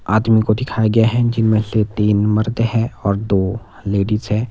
आदमी को दिखाया गया है जिनमें से तीन मर्द हैं और दो लेडीज हैं।